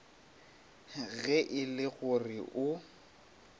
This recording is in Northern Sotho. ge e le gore o